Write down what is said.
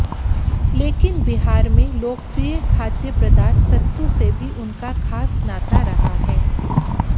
लेकिन बिहार में लोकप्रिय खाद्य पदार्थ सत्तू से भी उनका खास नाता रहा है